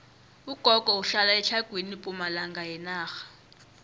ugogo uhlala etlhagwini pumalanga yenarha